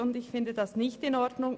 Das finde ich nicht in Ordnung!